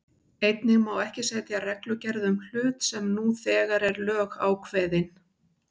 Einnig má ekki setja reglugerð um hlut sem nú þegar er lögákveðinn.